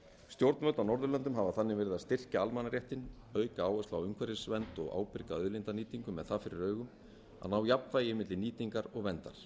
stjórnvöld á norðurlöndum hafa þannig verið að styrkja almannaréttinn auka áherslu á umhverfisvernd og ábyrga auðlindanýtingu með það fyrir augum að ná jafnvægi milli nýtingar og verndar